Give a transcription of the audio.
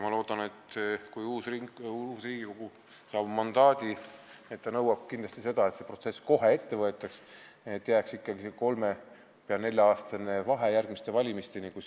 Ma loodan, et kui uus Riigikogu saab mandaadi, siis ta nõuab kindlasti, et see protsess kohe ette võetaks, et jääks ikkagi see kolme- või nelja-aastane vahe järgmiste valimisteni.